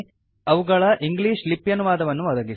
ಅವುಗಳ ಇಂಗ್ಲೀಷ್ ಲಿಪ್ಯನುವಾದವನ್ನು ಒದಗಿಸಿ